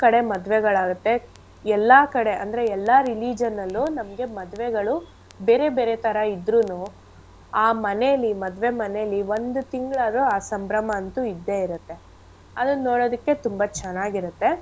ಕಡೆ ಮದ್ವೆಗಳಾಗತ್ತೆ ಎಲ್ಲಾ ಕಡೆ ಅಂದ್ರೆ ಎಲ್ಲಾ religion ಅಲ್ಲು ನಮ್ಗೆ ಮದ್ವೆಗಳು ಬೇರೆ ಬೇರೆ ತರ ಇದ್ರುನೂ ಆ ಮನೇಲಿ ಮದ್ವೆ ಮನೇಲಿ ಒಂದ್ ತಿಂಗ್ಳ್ ಆದ್ರು ಆ ಸಂಭ್ರಮ ಅಂತೂ ಇದ್ದೇ ಇರತ್ತೆ. ಅದನ್ ನೋಡೋದಕ್ಕೆ ತುಂಬಾ ಚೆನ್ನಾಗಿರತ್ತೆ.